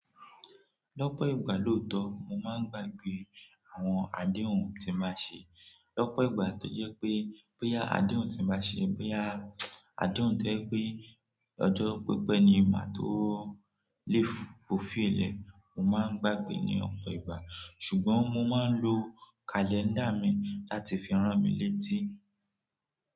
Lọ́pọ̀ ìgbà lóòótọ́, mo máa ń gbàgbé àwọn adéhùn tí n ba ṣe. Lọ́pọ̀ ìgbà, tó jẹ́ pé, bóyá adéhùn tí n ba ṣe, bóyá adéhùn tó jẹ́ pé ọjọ́ pípẹ́ ni máa tó lè fò fí ilẹ̀, mo máa ń gbàgbé ní ọ̀pọ̀ ìgbà. Sùgbọ́n mo máa ń lo kàlẹ́ńdà mi láti fi rán mi létí.